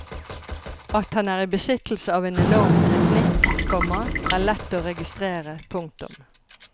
At han er i besittelse av en enorm teknikk, komma er lett å registrere. punktum